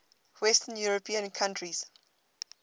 western european countries